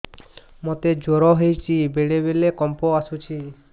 ମୋତେ ଜ୍ୱର ହେଇଚି ବେଳେ ବେଳେ କମ୍ପ ଆସୁଛି